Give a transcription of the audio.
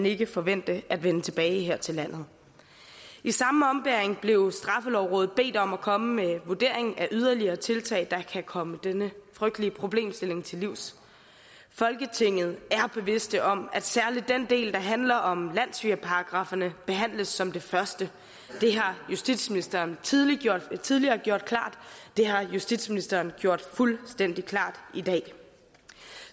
ikke forvente at vende tilbage her til landet i samme ombæring blev straffelovrådet bedt om at komme med en vurdering af yderligere tiltag der kan komme denne frygtelige problemstilling til livs folketinget er bevidste om at særlig den del der handler om landssvigerparagrafferne behandles som det første det har justitsministeren tidligere tidligere gjort klart det har justitsministeren gjort fuldstændig klart i dag